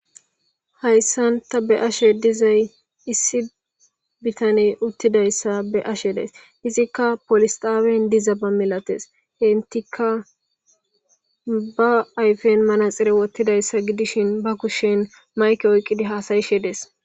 hayssanta be ashe dizay issi bitane uttidayssa be ashe days izikka polisxaawen diza ba milates hentika ba ayfen manaxire wottidayssa gidishin ba kushen mayke oyqqidi haasayishe dees